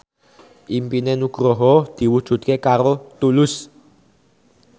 impine Nugroho diwujudke karo Tulus